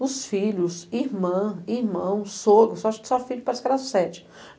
os filhos, irmã, irmão, sogro, acho que só filhos, parece que eram as sete.